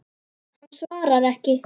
Hann svarar ekki.